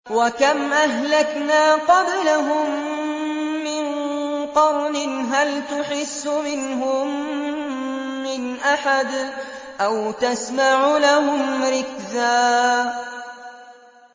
وَكَمْ أَهْلَكْنَا قَبْلَهُم مِّن قَرْنٍ هَلْ تُحِسُّ مِنْهُم مِّنْ أَحَدٍ أَوْ تَسْمَعُ لَهُمْ رِكْزًا